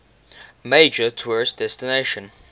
major tourist destination